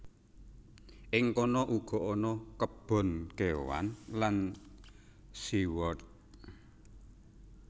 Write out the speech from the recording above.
Ing kono uga ana kebon kéwan lan sea world